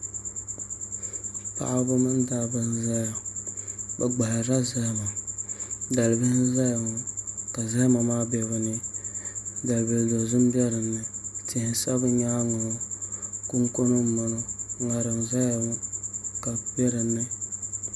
Paɣaba mini dabba n ʒɛya bi gbaharila zahama dalibili n ʒɛya ŋɔ ka zahama maa bɛ dinni dalibili dozim bɛ dinni tihi n sa bi nyaangi maa kunkuni n bɔŋɔ ŋarim n ʒɛya ŋɔ ka bi bɛ dinni